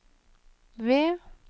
ved